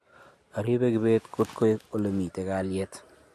aribei kibet koto ek ole mito kalyet